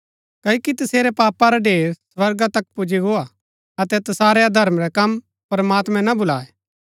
क्ओकि तसेरै पापा रा ढेर स्वर्गा तक पुजी गोआ अतै तसारै अधर्म रै कम प्रमात्मैं ना भुलाये